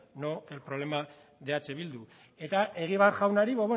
no el problema de eh bildu eta egibar jaunari